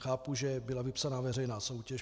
Chápu, že byla vypsána veřejná soutěž.